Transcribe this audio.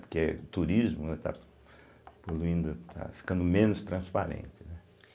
Porque o turismo, né está poluindo, está ficando menos transparente, né?